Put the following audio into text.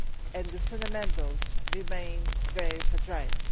and the fundamentals remain very fragile.